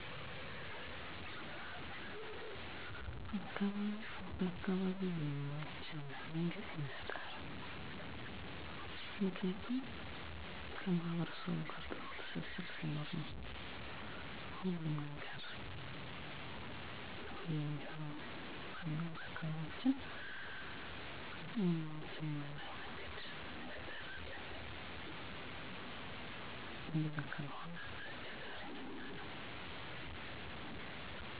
ከቤተሰብ፦ 1. የእምነት እና የአንደበት ድጋፍ 2. በትምህርት ውስጥ በተለያዩ ሁኔታዎች መከታተል 3. ከመምህራን ጋር ትክክለኛ መገናኘት ማስተዳደር ከትምህርት ተቋም፦ 1. ተስማሚ አሰራር 2. እንደ አስቸጋሪ ሁኔታ ተዘጋጅቶ የተለየ እርዳታ 3. አካባቢ የሚመች መማሪያ መንገድ፣ መሳሪያ እና መንቀሳቀስ መተላለፊያ የሚያስፈልጉ እርምጃዎች፦ የህክምና መረጃ አቅርቦት፣ የተለየ መማሪያ እቅድ እና ዕቃዎች በማስተካከል፣ አዋቂ ምሁራን እነዚህ ድጋፍ እና እርምጃዎች እኩል ዕድል ለማምጣት በጣም ወሳኝ ናቸው።